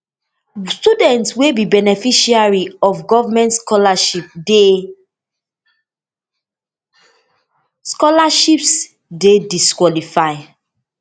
students wey be beneficiaries of goment scholarships dey scholarships dey disqualified